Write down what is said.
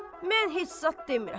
Mən heç zat demirəm.